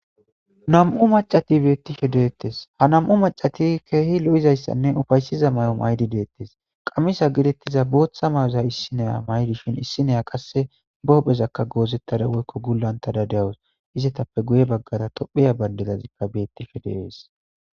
Nam'u mac'ati betishe de'etes , ha nam'u macati keeh lo'izaysanne ufaysiza mayo mayid detes, qamisa getetiza bootha mayoza issi Naya mayada dishn issi Naya qase be hu'ezaka gozetada woyko gulantada de'awusi. Izetappe guye bagara tophiya Bandrazika betishe de'es.